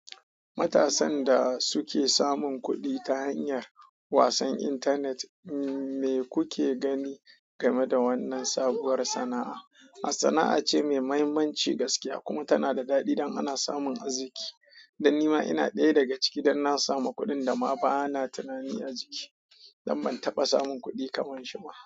Matasan da suke samun kuɗi ta hanyar wasan intanet, me kuke gani game da wannan sabuwar sana'a? Sana'a ce mai mahimmanci gaskiya kuma tana da daɗi don ana samun arziki. Dan ni ma ina ɗaya daga ciki don na samu kuɗin da ma ba na tunanin arziki. Dan ban taba samun kudi kaman shi ba.